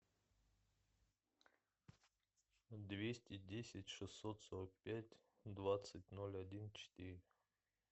двести десять шестьсот сорок пять двадцать ноль один четыре